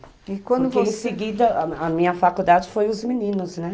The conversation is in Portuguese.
E quando você, porque em seguida, a minha faculdade foi os meninos, né?